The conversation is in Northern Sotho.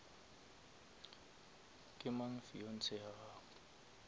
ke mang fiance ya gago